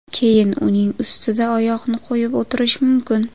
Keyin uning ustida oyoqni qo‘yib o‘tirish mumkin.